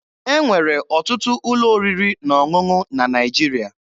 E nwere ọtụtụ ụlọ oriri na ọṅụṅụ na Naịjirịa.